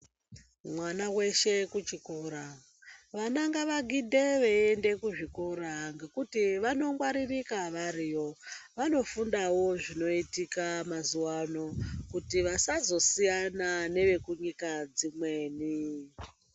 Mwana weshe kuchikora. Vana ngavagidhe veiende kuzvikora ngekuti vanongwaririka variyo. Vanofundawo zvinoitika mazuwa ano, kuti vasazosiyana nevekunyika dzimweni.